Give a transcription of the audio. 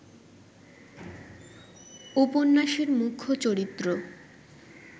উপন্যাসের মুখ্য চরিত্র